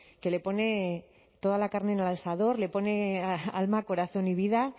que le pone toda la carne en el asador le pone alma corazón y vida